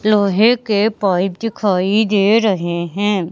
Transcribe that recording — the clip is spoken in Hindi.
लोहे के पाइप दिखाई दे रहे हैं।